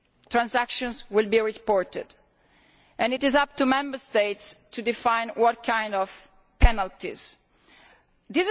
transactions are reported, and it is up to Member States to define what kind of penalties will exist.